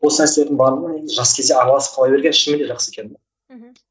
осы мәселелердің барлығына енді жас кезде араласып қала берген шынымен де жақсы екен мхм